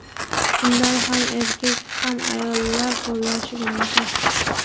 Undan ham erkak va ham ayollar qo‘llashi mumkin.